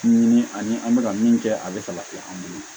Ani an bɛ ka min kɛ a bɛ fala ten an bolo